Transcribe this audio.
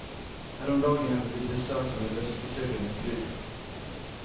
Häromdagen hade vi besök av en lustigkurre med fru.